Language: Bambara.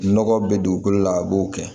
Nɔgɔ bɛ dugukolo la a b'o kɛ